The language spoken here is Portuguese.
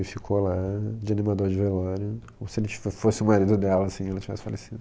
E ficou lá de animador de velório, como se ele te fosse o marido dela e ela tivesse falecido.